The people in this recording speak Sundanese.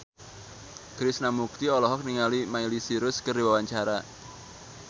Krishna Mukti olohok ningali Miley Cyrus keur diwawancara